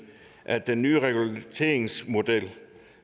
at den nye reguleringsmodel